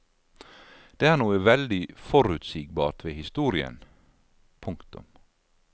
Det er noe veldig forutsigbart ved historien. punktum